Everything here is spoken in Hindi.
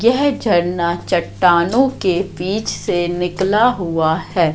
यह झरना चट्टानों के बीच से निकला हुआ है।